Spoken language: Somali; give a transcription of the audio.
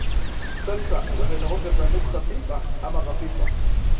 Salsa waxay noqon kartaa mid khafiif ah ama khafiif ah.